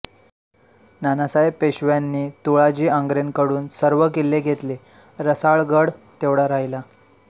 नानासाहेब पेशव्यांनी तुळाजी आंग्रेकडून सर्व किल्ले घेतले रसाळगड तेवढा राहिला